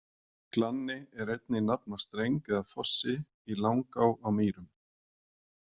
Glanni er einnig nafn á streng eða fossi í Langá á Mýrum.